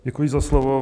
Děkuji za slovo.